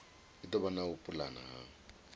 vha na u pulana ha